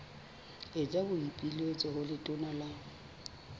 etsa boipiletso ho letona la